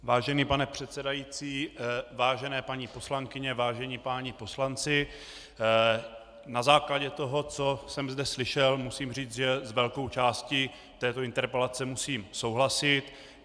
Vážený pane předsedající, vážené paní poslankyně, vážení páni poslanci, na základě toho, co jsem zde slyšel, musím říct, že s velkou částí této interpelace musím souhlasit.